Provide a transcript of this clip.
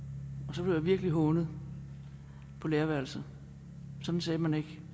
og så blev jeg virkelig hånet på lærerværelset sådan sagde man ikke